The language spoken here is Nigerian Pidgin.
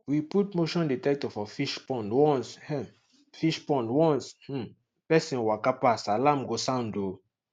we put motion dectector for fishpond once um fishpond once um person waka pass alarm go sound um